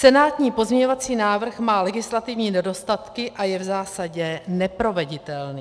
Senátní pozměňovací návrh má legislativní nedostatky a je v zásadě neproveditelný.